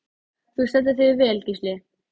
Þú stendur þig vel, Gísli!